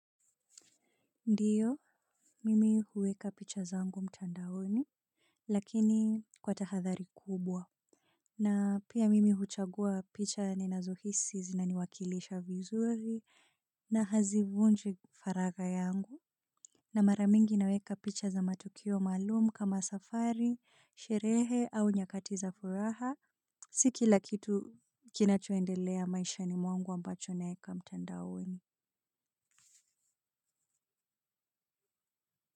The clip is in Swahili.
Ndiyo mimi huweka picha zangu mtandaoni lakini kwa tahadhari kubwa na pia mimi huchagua picha ninazohisi zinaniwakilisha vizuri na hazivunji faragha yangu na mara mingi naweka picha za matukio maalumu kama safari sherehe au nyakati za furaha si kila kitu kinachoendelea maishani mwangu ambacho naeka mtandaoni.